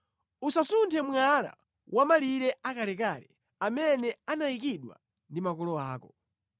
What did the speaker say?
Usasunthe mwala wamʼmalire akalekale amene anayikidwa ndi makolo ako.